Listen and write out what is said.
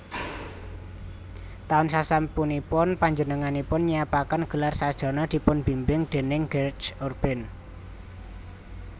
Taun sasampunipun panjenenganipun nyiapaken gelar sarjana dipunbimbing déning Georges Urbain